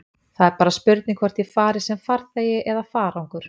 Það er bara spurning hvort ég fari sem farþegi eða farangur.